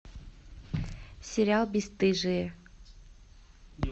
сериал бесстыжие